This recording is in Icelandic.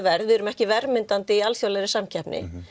verð við erum ekki verðmyndandi í alþjóðlegri samkeppni